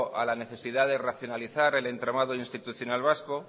a la necesidad de racionalizar el entramado institucional vasco